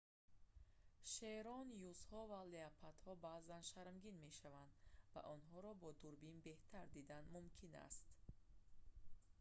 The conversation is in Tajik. шерон юзҳо ва леопардҳо баъзан шармгин мешаванд ва онҳоро бо дурбин беҳтар дидан мумкин аст